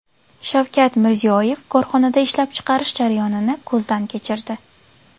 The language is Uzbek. Shavkat Mirziyoyev korxonada ishlab chiqarish jarayonini ko‘zdan kechirdi.